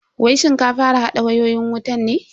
Wai shin ka fara hada wayoyin wutan ne?